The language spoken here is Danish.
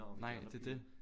Nej det er det